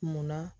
Munna